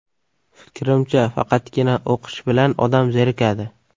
Fikrimcha, faqatgina o‘qish bilan odam zerikadi.